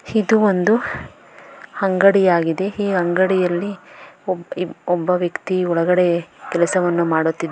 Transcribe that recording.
ಇದು ಒಂದು ಅಂಗಡಿಯಾಗಿದೆ ಈ ಅಂಗಡಿಯಲ್ಲಿ ಒಬ್ ಇಬ್ ಒಬ್ಬ ವ್ಯಕ್ತಿ ಒಲ್ಗಡೆ ಕೆಲಸವನ್ನು ಮಾಡುತ್ತಿದ್ --